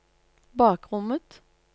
bakrommet